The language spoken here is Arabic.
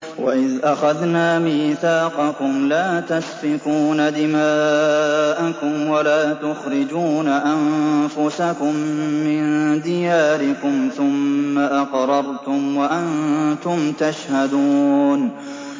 وَإِذْ أَخَذْنَا مِيثَاقَكُمْ لَا تَسْفِكُونَ دِمَاءَكُمْ وَلَا تُخْرِجُونَ أَنفُسَكُم مِّن دِيَارِكُمْ ثُمَّ أَقْرَرْتُمْ وَأَنتُمْ تَشْهَدُونَ